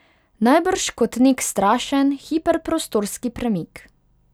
Najbrž kot nek strašen, hiperprostorski premik.